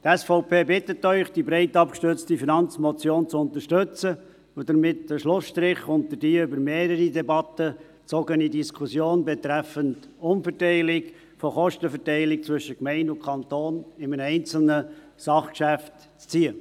Die SVP bittet Sie, diese breit abgestützte Finanzmotion zu unterstützen und damit in einem einzelnen Sachgeschäft einen Schlussstrich unter die sich über mehrere Debatten hingezogene Diskussion betreffend Umverteilung der Kostenverteilung zwischen Gemeinden und Kanton zu ziehen.